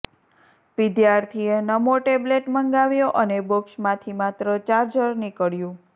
વિદ્યાર્થીએ નમો ટેબ્લેટ મંગાવ્યો અને બોક્સમાંથી માત્ર ચાર્જર નીકળ્યું